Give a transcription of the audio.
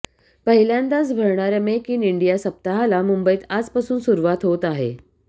पहिल्यांदाच भरणाऱ्या make in India सप्ताहाला मुंबईत आजपासून सुरुवात होत आहे